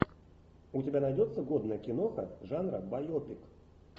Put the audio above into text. у тебя найдется годная киноха жанра байопик